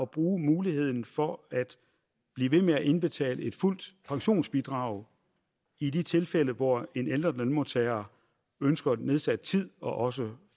bruge muligheden for at blive ved med at indbetale et fuldt pensionsbidrag i de tilfælde hvor en ældre lønmodtager ønsker nedsat tid og også